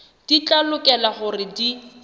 di tla lokela hore di